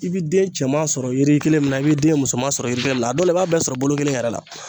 I bi den cɛman sɔrɔ yiri kelen min na i bi den musoman sɔrɔ yiri kelen na a dɔw la i b'a bɛɛ sɔrɔ bolo kelen yɛrɛ la.